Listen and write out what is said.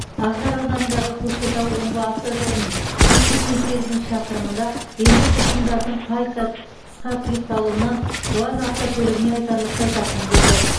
ақжар ауданындағы көкшетау омбы автожолының жүз сексен сегізінші шақырымында электр сымдардың қайта қысқа тұйықталуынан уаз автокөлігіне айтарлықтай зақым келді